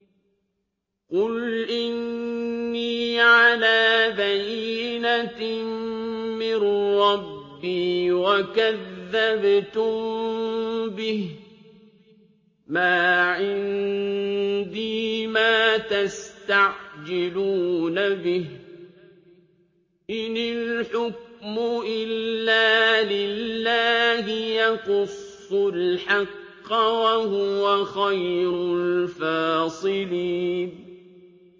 قُلْ إِنِّي عَلَىٰ بَيِّنَةٍ مِّن رَّبِّي وَكَذَّبْتُم بِهِ ۚ مَا عِندِي مَا تَسْتَعْجِلُونَ بِهِ ۚ إِنِ الْحُكْمُ إِلَّا لِلَّهِ ۖ يَقُصُّ الْحَقَّ ۖ وَهُوَ خَيْرُ الْفَاصِلِينَ